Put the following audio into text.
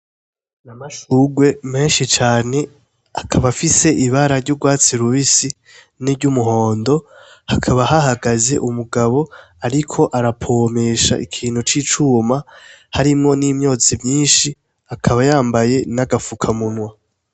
N’amashurwe menshi cane akaba afise ibara ry'urwatsi rubisi nery'umuhondo hakaba hahagaze umugabo, ariko arapomesha ikintu c'icuma harimwo n'imyozi myinshi akaba yambaye n'agapfuka munwa.